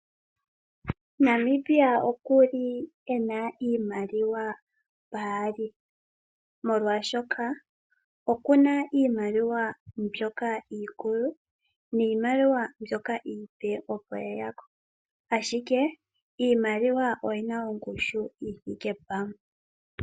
Namibia okuli ena iimaliwa paali , molwashoka okuna iimaliwa mbyoka iikulu niimaliwa mbyoka iipe opo yeyako ashike iimaliwa oyina ongushu yithike pamwe.